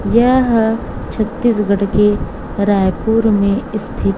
यह छत्तीसगढ़ की रायपुर में स्थिति--